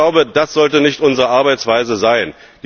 Ich glaube, das sollte nicht unsere Arbeitsweise sein.